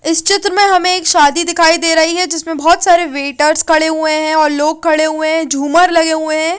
इस चित्र में हमे एक शादी दिखाई दे रही है जिसमे बहोत सारे वेटर्स खड़े हुए है और लोग खड़े हुए है और झूमर लगे हुए है।